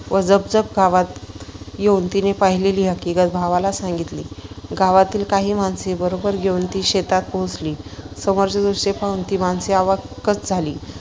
झपझप गावात येऊन तिने पाहिलेली हकिगत भावाला सांगितली. गावातील काही माणसे बरोबर घेऊन ती शेतात पोहोचली. समोरचे दृश्य पाहून ती माणसे अवाक्च झाली.